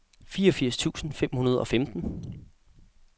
fireogfirs tusind fem hundrede og femten